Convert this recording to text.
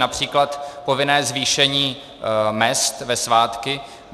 Například povinné zvýšení mezd ve svátky.